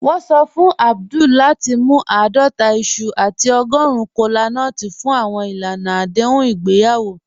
Wọn sọ fún Abdul lati mú aadọta iṣu àti ọ̀gọ́run kọlánúts fún awọn ilànà adéhùn igbeyawo."